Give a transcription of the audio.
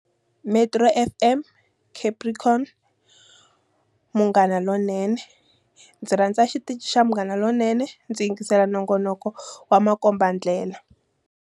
Metro FM, Capricorn, Munghana Lonene. Ndzi rhandza xitichi xa Munghana Lonene. Ndzi yingisela nongonoko wa makombandlela.